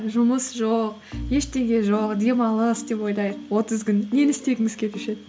жұмыс жоқ ештеңе жоқ демалыс деп ойлайық отыз күн нені істегіңіз келуші еді